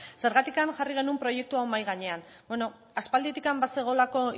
zergatik jarri genuen proiektu hau mahai gainean bueno aspalditik bazegoelako